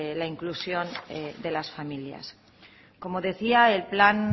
la inclusión de las familias como decía el